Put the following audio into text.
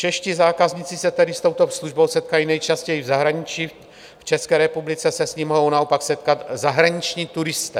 Čeští zákazníci se tedy s touto službou setkají nejčastěji v zahraničí, v České republice se s ní mohou naopak setkat zahraniční turisté.